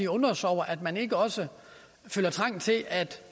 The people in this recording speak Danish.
undrer os over at man ikke også føler trang til at